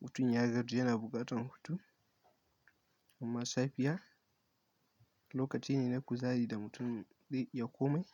mutum ya gaji yana buƙatar hutu. Amma safiya lokaci ne na kuzari da mutum ya komai.